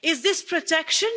Is this protection?